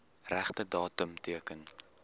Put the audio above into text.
regte datum teken